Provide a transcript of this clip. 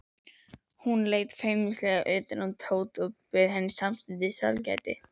Hún leit feimnislega undan og Tóti bauð henni samstundis sælgæti.